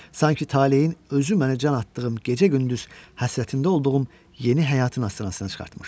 Sanki taleyin özü mənə can atdığım gecə-gündüz həsrətində olduğum yeni həyatın astanasına çıxartmışdı.